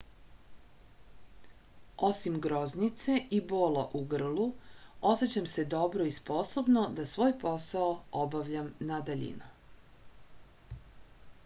osim groznice i bola u grlu osećam se dobro i sposobno da svoj posao obavljam na daljinu